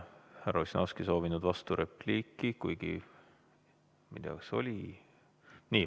Härra Ossinovski on soovinud vasturepliiki, kuigi ma ei tea, kas oli ...